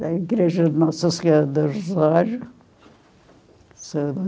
Da igreja Nossa Senhora dos